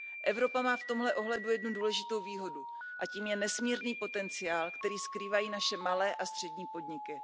Evropa má v tomto ohledu jednu důležitou výhodu, a tím je nesmírný potenciál, který skrývají naše malé a střední podniky.